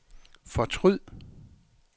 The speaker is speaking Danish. fortryd